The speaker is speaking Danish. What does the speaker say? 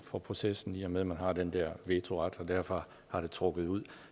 for processen i og med man har den der vetoret og derfor har det trukket ud